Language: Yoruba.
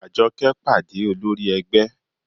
Àjọkẹ́ pàdé olórí ẹgbẹ́